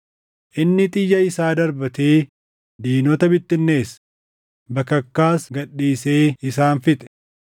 Inni xiyya isaa darbatee diinota bittinneesse; bakakkaas gad dhiisee isaan fixe.